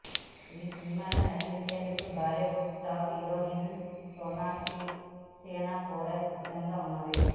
ఈ సినిమాలో నటించేందుకు బాలీవుడ్ టాప్ హీరోయిన్ సోనక్షి సిన్హా కూడా సిద్దంగా ఉన్నది